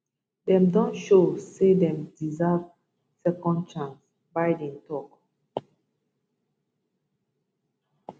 dem don show say dem deserve second chance biden tok